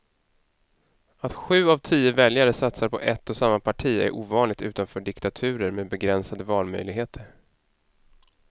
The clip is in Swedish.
Att sju av tio väljare satsar på ett och samma parti är ovanligt utanför diktaturer med begränsade valmöjligheter.